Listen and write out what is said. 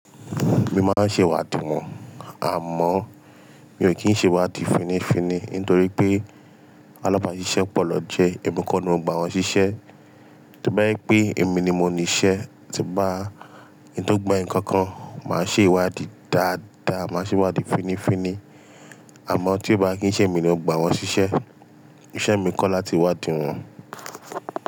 Mi máa ń ṣe ìwádìí wọn, àmọ́ mi ò kí ń ṣe ìwádìí fini fini ntorí pé alábàáṣiṣẹ́ pọ̀ naa jẹ́ ẹ̀mi kọ́ ni mo gba wọn ṣiṣẹ́. Tí ó bá jẹ pé èmi ni mo ní iṣẹ́, tí bá kin to gba eeyan ǹkan kan, màá ṣe ìwádìí dáadáa, màá ṣe ìwádìí fini fini. Àmọ́ tí ó bá kí ń ṣe èmi ni ó gba wọn ṣiṣẹ́, iṣẹ́ mi kọ́ láti wádìí wọn.